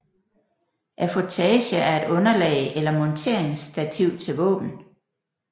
Affutage er et underlag eller monteringsstativ til våben